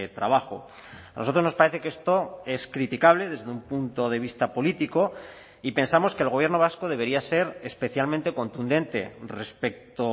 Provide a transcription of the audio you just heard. trabajo a nosotros nos parece que esto es criticable desde un punto de vista político y pensamos que el gobierno vasco debería ser especialmente contundente respecto